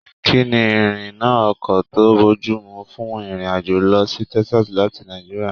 Kínní Irina ọkọ to bojumu fún irin-ajo lọ sí Texas láti Nàìjíríà?